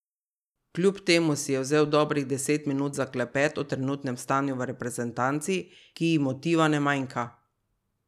Kljub temu si je vzel dobrih deset minut za klepet o trenutnem stanju v reprezentanci, ki ji motiva ne manjka.